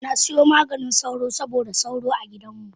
Nasiyo Maganin sauro saboda sauro a gidanmu.